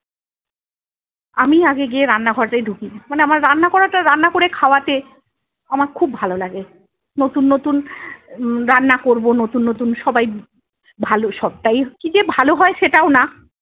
আমিই আগে গিয়ে রান্না ঘরতে ঢুকি, মানে আমার রান্না করাটা রান্না করে খাওয়াতে আমার খুব ভালো লাগে। নতুন নতুন রান্না করবো নতুন নতুন সবাই ভালো সবটাই কিযে ভালো হয় সেটাও না